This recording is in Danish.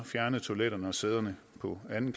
fjerne toiletterne og sæderne på anden